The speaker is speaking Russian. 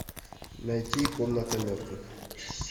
найти комната мертвых